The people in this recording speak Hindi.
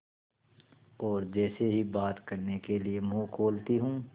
और जैसे ही बात करने के लिए मुँह खोलती हूँ